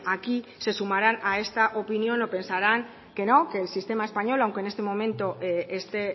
aquí se sumarán a esta opinión o pensarán que no que el sistema español aunque en este momento esté